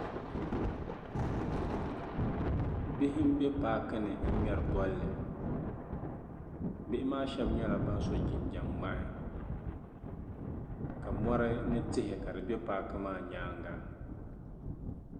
bihi m-be paaki ni n-ŋmɛri bɔlli bihi maa shɛba nyɛla ban so jinjam ŋmahi ka mɔri ni tihi ka di be paaki maa nyaaŋga